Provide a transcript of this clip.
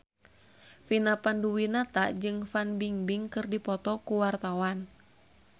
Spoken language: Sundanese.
Vina Panduwinata jeung Fan Bingbing keur dipoto ku wartawan